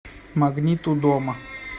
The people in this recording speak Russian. магнит у дома